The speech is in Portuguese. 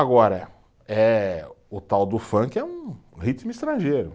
Agora eh, o tal do funk é um ritmo estrangeiro.